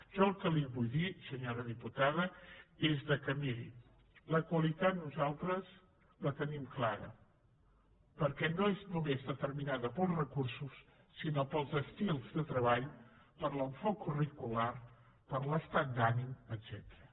jo el que li vull dir senyora diputada és que miri la qualitat nosaltres la tenim clara perquè no és només determinada pels recursos sinó pels estils de treball per l’enfocament curricular per l’estat d’ànim etcètera